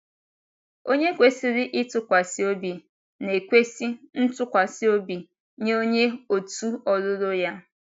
Onye kwesịrị ịtụkwasị obi na - ekwesị ntụkwasị obi nye onye òtù ọlụlụ ya.